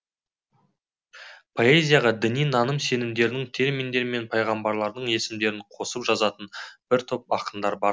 поэзияға діни наным сенімдерді терминдер мен пайғамбарлардың есімдерін қосып жазатын бір топ ақындар бар